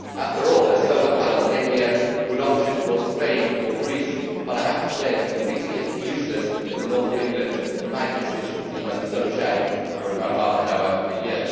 After all, solar panels may be a good option in Spain or Greece, but I have to say they are completely useless in the north of England, in my constituency, where the sun shines for about half an hour a year.